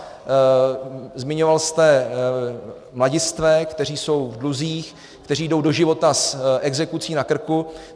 Zmiňoval jste mladistvé, kteří jsou v dluzích, kteří jdou do života s exekucí na krku.